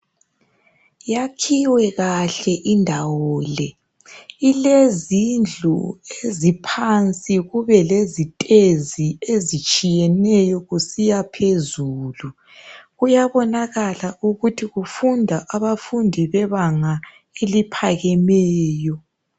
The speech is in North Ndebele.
Yakhiwe kahle indawo le ilezindlu eziphansi kube lezitezi ezitshiyeneyo kusiya phezulu kuyabonakala ukuthi kufunda abafundi bebanga eliphakemeyo